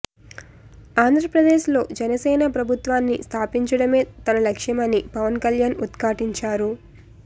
ఆంధ్రప్రదేశ్ లో జనసేన ప్రభుత్వాన్ని స్థాపించడమే తన లక్ష్యమని పవన్ కల్యాణ్ ఉద్ఘాటించారు